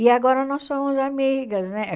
E agora nós somos amigas, né?